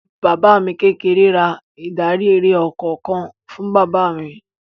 Bàbá mi kékeré ra ìdarí-eré ọkọ̀ kan fún bàbá mi.